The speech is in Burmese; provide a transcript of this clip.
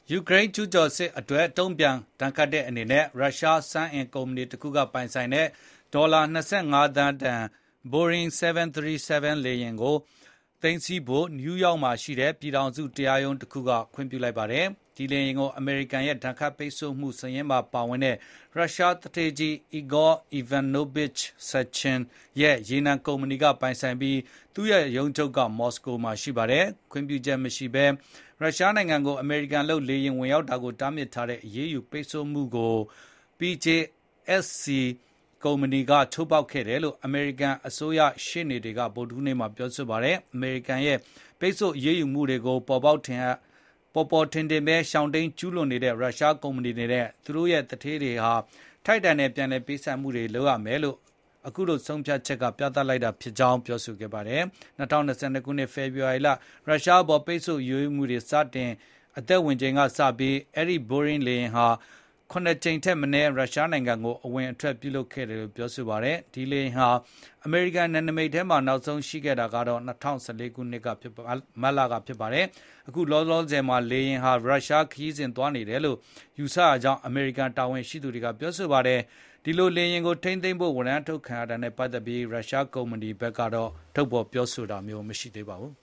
ယူကရိန်း ကျူးကျော်စစ်အတွက် တုံ့ပြန် ဒဏ်ခတ်တဲ့အနေနဲ့ ရုရှားစွမ်းအင်ကုမ္ပဏီတစ်ခုက ပိုင်ဆိုင်တဲ့ ဒေါ်လာ ၂၅ သန်းတန် ဘိုးအင်း ၇၃၇ လေယာဉ်တစီးကို သိမ်းဆည်းဖို့ နယူးယောက်မှာရှိတဲ့ ဖက်ဒရယ်တရားရုံးတခုက ခွင့်ပြုလိုက်ပါတယ်။ ဒီလေယာဉ်ကို အမေရိကန်ရဲ့ ဒဏ်ခတ်ပိတ်ဆို့မှု စာရင်းမှာပါဝင်တဲ့ ရုရှားသူဌေးကြီး အီဂေါ အီဗန်နိုဗစ်ချ် ဆက်ချင် Igor Ivanovich Sechin ရဲ့ ရေနံကုမ္ပဏီက ပိုင်ဆိုင်ပြီး သူ့ ရုံးချုပ်က မော်စကိုမှာ ရှိပါတယ်။ ခွင့်ပြုချက်မရှိဘဲ ရုရှားနိုင်ငံကို အမေရိကန်လုပ်လေယာဉ် ဝင်ရောက်တာကို တားမြစ်ထားတဲ့ အရေးယူပိတ်ဆို့မှုကို PJSC Rosneft ကုမ္ပဏီက ချိုးဖောက်ခဲ့တယ်လို့ အမေရိကန်အစိုးရ ရှေ့နေတွေက ဗုဒ္ဓဟူးနေ့မှာ ပြောပါတယ်။ အမေရိကန်ရဲ့ ပိတ်ဆို့အရေးယူမှုတွေကို ပေါ်ပေါ်ထင်ထင်ပဲ ရှောင်တိမ်း ကျူးလွန်နေတဲ့ ရုရှားကုမ္ပဏီတွေနဲ့ သူတို့ရဲ့ သူဌေးကြီးတွေဟာ ထိုက်တန်တဲ့ ပြန်လည်ပေးဆပ်မှုတွေ လုပ်ရမယ်ဆိုတာကို အခု ဆုံးဖြတ်ချက်က ပြသလိုက်တာလို့ ဆိုပါတယ်။ ၂၀၂၂ ခုနှစ် ဖေဖေါ်ဝါရီလ ရုရှားအပေါ် ပိတ်ဆို့အရေးယူတွေ စတင် အသက်ဝင်ချိန်က စပြီး အဲဒီ ဘိုရင်းလေယာဉ်ဟာ ခုနစ်ကြိမ်ထက်မနည်း ရုရှားနိုင်ငံကို အဝင်-အထွက် ပြုလုပ်ခဲ့တယ်လို့ ပြောပါတယ်။ ဒီလေယာဉ်ဟာ အမေရိကန် နယ်နိမိတ်ထဲမှာ နောက်ဆုံးရှိခဲ့တာကတော့ ၂၀၁၄ ခုနှစ် မတ်လကပါ။ အခုလောလောဆယ်မှာ လေယာဉ်ဟာ ရုရှားခရီးစဉ် သွားနေတယ်လို့ ယူဆရကြောင်း အမေရိကန် တာဝန်ရှိသူတွေက ပြောပါတယ်။ ဒီလို လေယာဉ်ကို သိမ်းဆည်းဖို့ ဝရမ်း ထုတ်ခံရတာနဲ့ပတ်သက်ပြီး ရုရှားကုမ္ပဏီဖက်ကို အီးမေးလ်ကနေ ဆက်သွယ်ခဲ့ပေမယ့် ပြန်လည် ဖြေကြားခြင်း မရှိပါဘူး